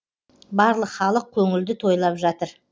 барлық халық көңілді тойлап жатыр